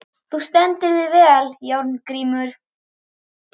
Þú stendur þig vel, Járngrímur!